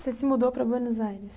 Você se mudou para Buenos Aires?